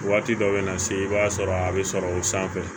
Waati dɔ bɛ na se i b'a sɔrɔ a bɛ sɔrɔ o sanfɛ